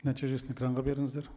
нәтижесін экранға беріңіздер